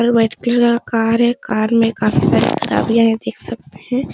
और बैटरी वाला कार है कार में काफी सारी खराबियाँ हैं देख सकते हैं।